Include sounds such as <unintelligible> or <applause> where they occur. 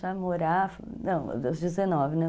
<unintelligible> Não, aos dezenove, né?